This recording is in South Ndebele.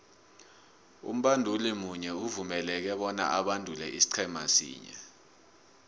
umbanduli munye uvumeleke bona abandule isiqhema sinye